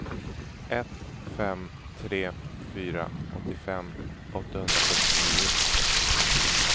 ett fem tre fyra åttiofem åttahundrasextionio